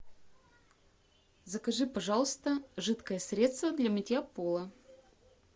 закажи пожалуйста жидкое средство для мытья пола